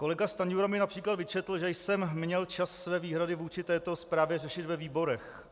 Kolega Stanjura mi například vyčetl, že jsem měl čas své výhrady vůči této zprávě řešit ve výborech.